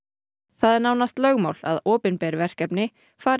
það er nánast lögmál að opinber verkefni fari